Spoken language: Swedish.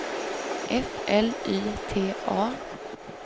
F L Y T A